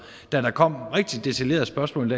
da der kom rigtig detaljerede spørgsmål